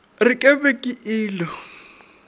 re ke be ke ilo